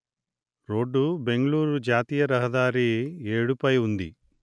road Bengaluru జాతీయ రహదారి ఏడు పై ఉంది